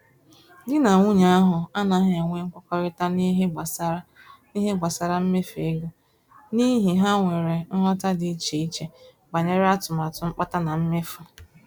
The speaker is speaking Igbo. Di na nwunye ahụ anaghị enwe nkwekorita n'ihe gbásárá n'ihe gbásárá mmefu ego, n'ihi ha nwèrè nghọta dị iche iche banyere atụmatụ mkpata na mmefu